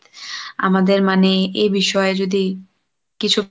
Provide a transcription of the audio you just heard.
আমাদের মানে এ বিষয়ে যদি, কিছু!